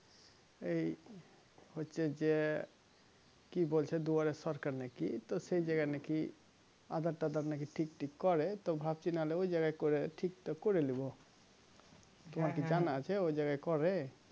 এই হচ্ছে যে কি বলছে দুয়ারের সরকার নাকি তো সেই জায়গাই নাকি aadhar তাধার নাকি ঠিক ঠিক করে তো ভাবছি নাহোলে ওই জায়গা করে ঠিক টা করে নিবো তোমার কি জানা আছে ওই জায়গা করে